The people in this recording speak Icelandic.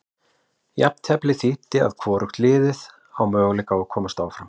Jafnteflið þýddi að hvorugt liðið á möguleika að komast áfram.